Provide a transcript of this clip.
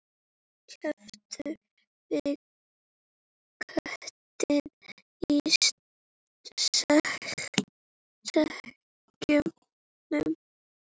Keyptum við köttinn í sekknum?